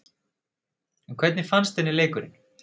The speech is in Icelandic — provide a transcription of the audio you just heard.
En hvernig fannst henni leikurinn?